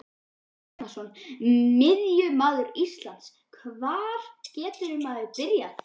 Birkir Bjarnason Miðjumaður Ísland Hvar getur maður byrjað?